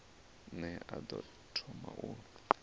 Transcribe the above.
ne a ḓo thoma u